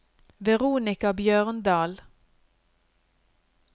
Veronica Bjørndal